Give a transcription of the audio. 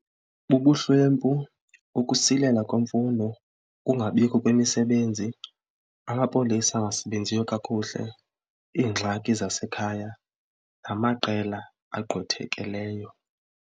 Bubuhlwempu, ukusilela kwemfundo, ukungabikho kwemisebenzi, amapolisa angasebenziyo kakuhle, iingxaki zasekhaya namaqela agqwethekileyo.